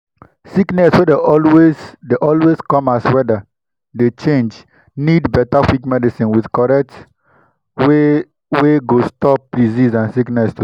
sickness wey dey always dey come as weather dey change need better quick medicine with correct way wey go stop disease and sickness to spread